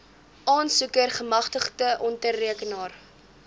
aansoeker gemagtigde ondertekenaar